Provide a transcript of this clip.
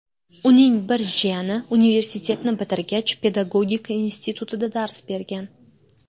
Uning bir jiyani universitetni bitirgach, Pedagogika institutida dars bergan.